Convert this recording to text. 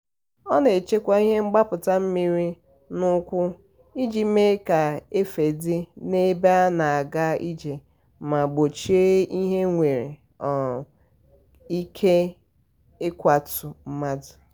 ọ na-echekwa ihe mgbapụta mmiri n'ukwu iji mee ka efe dị n'ebe a na-aga ije ma gbochie ihe nwere um ike ịkwatụ um mmadụ.